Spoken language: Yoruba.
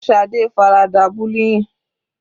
Shade farada bullying.